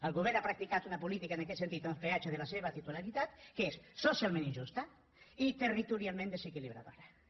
el govern ha practicat una política en aquest sentit en els peatges de la seva titularitat que és socialment injusta i territorialment desequilibradora